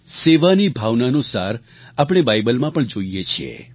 સેવાની ભાવનાનો સાર આપણે બાઇબલમાં પણ જોઈએ છીએ